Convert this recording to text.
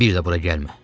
Bir də bura gəlmə.